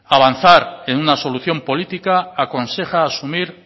avanzar en una decisión política aconseja asumir